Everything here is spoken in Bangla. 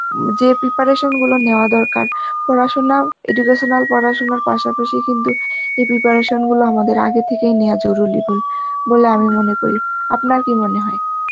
যে preparation গুলো নেওয়ার দরকার, পড়াশোনা educational পড়াশোনার পাশাপাশি কিন্তু এই preparation গুলো আমাদের আগে থেকেই নেওয়া জরুরি বল~ বলে আমি মনে করি, আপনার কি মনে হয়?